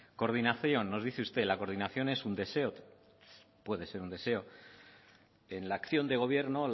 coordinación nos dice usted la coordinación es un deseo puede ser un deseo en la acción de gobierno